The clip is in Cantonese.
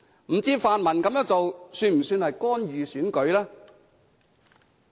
不知道泛民這樣做算不算干預選舉？